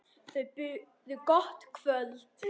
Þau buðu gott kvöld.